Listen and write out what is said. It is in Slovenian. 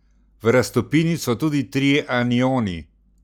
V raztopini so tudi trije anioni.